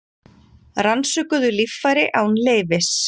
Rannsökuðu líffæri án leyfis